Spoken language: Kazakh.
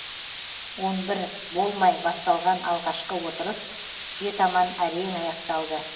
он бір болмай басталған алғашқы отырыс түске таман әрең аяқталды